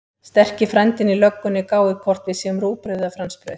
Sterki frændinn í löggunni gáir hvort við séum rúgbrauð eða fransbrauð.